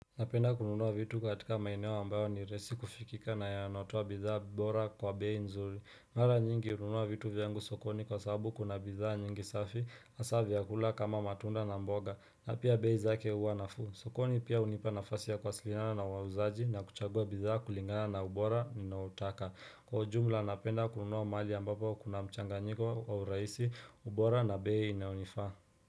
Napenda kununua vitu katika maeneo ambayo ni rahisi kufikika na yanaotoa bidhaa bora kwa bei nzuri Mara nyingi hununua vitu vyangu sokoni kwa sababu kuna bidhaa nyingi safi hasa vyakula kama matunda na mboga na pia bei zake huwa nafuu sokoni pia hunipa nafasi ya kuwasiliana na wauzaji na kuchagua bidhaa kulingana na ubora ninaotaka Kwa ujumla napenda kununua mahali ambapo kuna mchanginyiko wa urahisi ubora na bei inaonifaa.